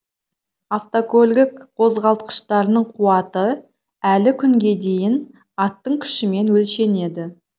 автокөлік қозғалтқыштарының қуаты әлі күнге дейін аттың күшімен өлшенеді